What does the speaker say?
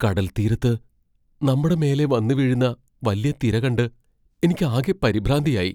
കടൽ തീരത്ത് നമ്മടെ മേലേ വന്നുവീഴുന്ന വല്യ തിര കണ്ട് എനിക്ക് ആകെ പരിഭ്രാന്തിയായി.